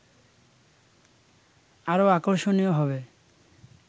আরও আকর্ষণীয় হবে